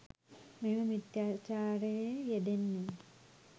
මෙම මිථ්‍යාචාරයේ යෙදෙන්නේ